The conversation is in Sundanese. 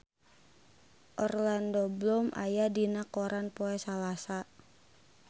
Orlando Bloom aya dina koran poe Salasa